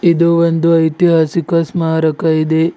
ಇದು ಒಂದು ಐತಿಹಾಸಿಕ ಸ್ಮಾರಕ ಇದೆ.